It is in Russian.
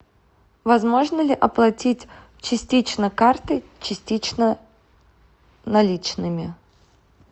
возможно ли оплатить частично картой частично наличными